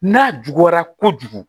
N'a juguyara kojugu